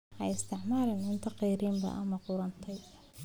Ha isticmaalin cunto kharriban ama qudhuntay.